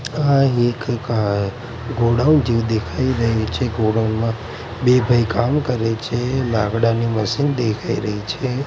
આ એક ગા ગોડાઉન જેવુ દેખાય રહ્યુ છે ગોડાઉન મા બે ભાઇ કામ કરે છે લાકડાની મશીન દેખાય રહી છે.